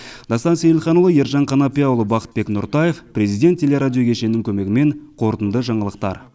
дастан сейілханұлы ержан қанапияұлы бақытбек нұртаев президент телерадиокешенінің көмегімен қорытынды жаңалықтар